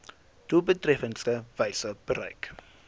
doeltreffendste wyse bereik